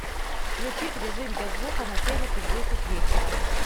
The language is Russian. включить режим без звука на телике в десять вечера